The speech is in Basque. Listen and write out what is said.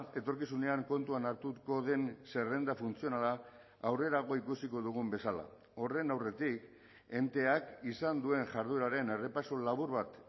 etorkizunean kontuan hartuko den zerrenda funtzionala aurrerago ikusiko dugun bezala horren aurretik enteak izan duen jardueraren errepaso labur bat